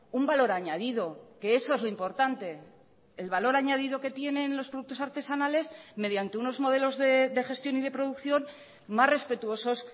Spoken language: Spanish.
un valor añadido que eso es lo importante el valor añadido que tienen los productos artesanales mediante unos modelos de gestión y de producción más respetuosos